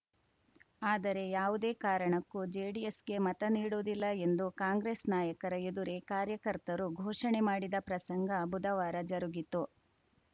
ಆದರೆ ಯಾವುದೇ ಕಾರಣಕ್ಕೂ ಜೆಡಿಎಸ್‌ಗೆ ಮತ ನೀಡುವುದಿಲ್ಲ ಎಂದು ಕಾಂಗ್ರೆಸ್‌ ನಾಯಕರ ಎದುರೇ ಕಾರ್ಯಕರ್ತರು ಘೋಷಣೆ ಮಾಡಿದ ಪ್ರಸಂಗ ಬುಧವಾರ ಜರುಗಿತು